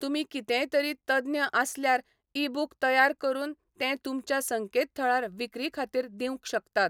तुमी कितेंय तरी तज्ञ आसल्यार ई बुक तयार करून तें तुमच्या संकेतथळार विक्री खातीर दिवंक शकतात.